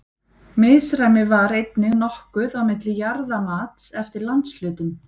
Misræmi var einnig nokkuð á milli jarðamats eftir landshlutum.